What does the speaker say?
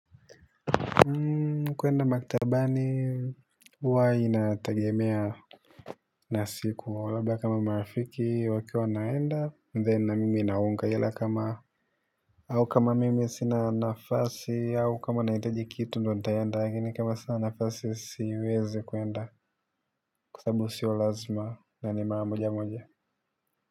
Kuenda maktabani huwa inategemea na siku labda kama marafiki wakiwa wanaenda then na mimi naungana kama au kama mimi sina nafasi au kama nahitaji kitu ndio nitaenda lakini kama sina nafasi siwezi kuenda. Kwa sababu sio lazima na ni mamojamoja.